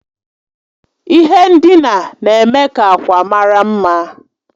Ihe ndina na-eme ka akwa mara mma